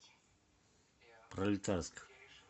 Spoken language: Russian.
пролетарск